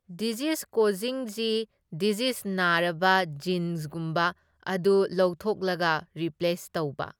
Disease ꯀꯣꯖꯤꯡ ꯖꯤ ꯗꯤꯖꯤꯖ ꯅꯥꯔꯕ ꯖꯤꯟꯁꯀꯨꯝꯕ ꯑꯗꯨ ꯂꯧꯊꯣꯛꯂꯒ ꯔꯤꯄ꯭ꯂꯦꯁ ꯇꯧꯕ꯫